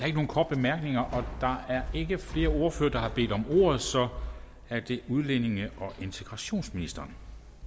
ikke nogen korte bemærkninger der er ikke flere ordførere der har bedt om ordet så er det udlændinge og integrationsministeren